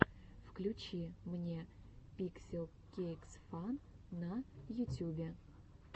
включи мне пикселкейксфан на ютюбе